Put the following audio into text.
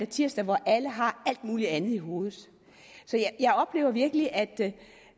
tirsdag hvor alle har alt muligt andet i hovedet så jeg oplever virkelig at